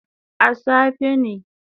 A safe ne